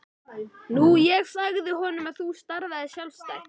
Nú ég sagði honum að þú starfaðir sjálfstætt.